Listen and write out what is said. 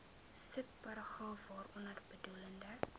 subparagraaf waaronder bedoelde